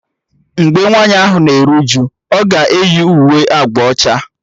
Mgbe nwaanyị ahụ na-eru uju, ọ ga eyi uwe agba ọcha